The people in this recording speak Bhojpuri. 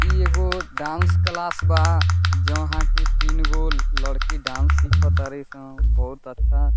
इ एगो डांस क्लास बा जोहाँ पे तीन गो लड़की डांस सीख तारी सन बहुत अच्छा --